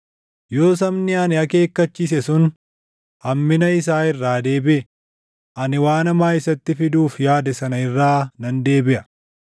yoo sabni ani akeekkachiise sun hammina isaa irraa deebiʼe, ani waan hamaa isatti fiduuf yaade sana irraa nan deebiʼa.